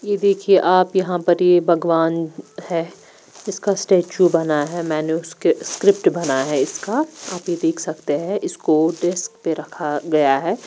ये देखिए आप यहा पर ये भगवान है इसका स्टेचू बना है मैने उसके स्क्रिप्ट भना है इसका आप ये देख सकते है इसको डेस्क पे रखा गया है।